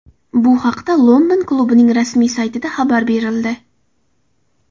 Bu haqda London klubining rasmiy saytida xabar berildi .